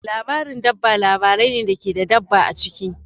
Labarin dabba labarai ne da ke da dabba a ciki.